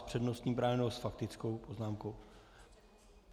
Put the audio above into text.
S přednostním právem, nebo s faktickou poznámkou?